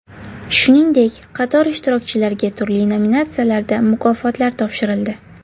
Shuningdek, qator ishtirokchilarga turli nominatsiyalarda mukofotlar topshirildi.